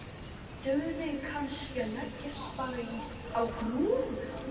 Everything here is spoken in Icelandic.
Dugði kannski að leggjast bara á grúfu?